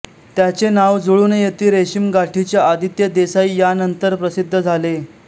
त्याचे नाव जुळून येती रेशीमगाठीच्या आदित्य देसाई यानंतर प्रसिद्ध झाले